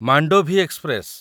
Mandovi express